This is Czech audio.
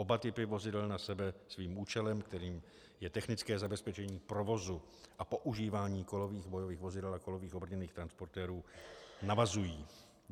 Oba typy vozidel na sebe svým účelem, kterým je technické zabezpečení provozu a používání kolových bojových vozidel a kolových obrněných transportérů, navazují.